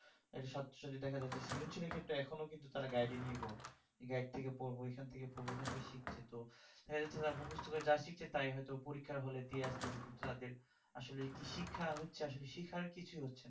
একটা ছাত্র ছাত্রীদের দেখা যাই যে সৃজনশীলশীলের ক্ষেত্রে এখনো কিন্তু তারা guide নির্ভর guide থেকে পড়বো এখান থেকে পড়বো ঐখান থেকে শিখছে তো . মুখস্ত করে যাই শিখছে তাই হয়তো পরীক্ষার হলে দিয়ে আসছে কিন্তু তাদের আসলে কি শিক্ষা হচ্ছে আসলে শিক্ষার কিছুই হচ্ছে না